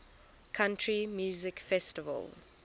country music festival